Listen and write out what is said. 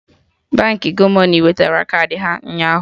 Baankị Gomoney wetara kaadị ya ụnyaahụ